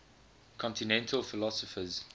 continental philosophers